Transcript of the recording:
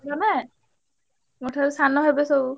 ମୋ ଠାରୁ ସାନ ହେବେ ସବୁ।